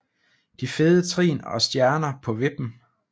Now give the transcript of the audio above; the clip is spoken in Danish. De fede trin og Stjerner på vippen